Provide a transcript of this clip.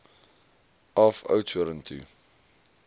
af oudtshoorn toe